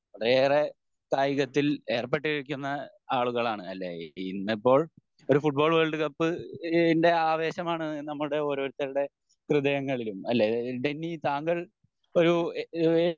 വളരെയേറെ കായികത്തിൽ ഏർപ്പെട്ട് ഇരിക്കുന്ന ആളുകളാണ് അല്ലെ ഇന്നിപ്പോൾ ഒരു ഫുട്ബാൾ വേൾഡ് കപ്പ് ഇതിൻ്റെ ആവേശമാണ് നമ്മുടെ ഓരോരുത്തരുടെ ഹൃദയങ്ങളിലും അല്ലെ? ഡെന്നി താങ്കൾ ഒരു ഏഹ്